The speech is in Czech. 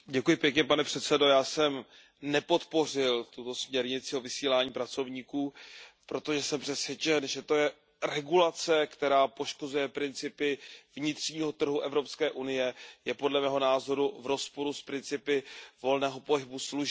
Pane předsedající, já jsem nepodpořil tuto směrnici o vysílání pracovníků, protože jsem přesvědčen, že to je regulace, která poškozuje principy vnitřního trhu Evropské unie, je podle mého názoru v rozporu s principy volného pohybu služeb.